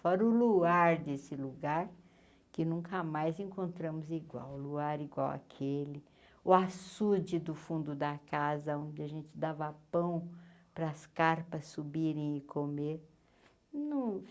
Fora o luar desse lugar que nunca mais encontramos igual, o luar igual àquele, o açude do fundo da casa onde a gente dava pão para as carpas subirem e comer.